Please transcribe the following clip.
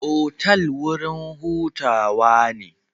Otal wurin hutawa ne.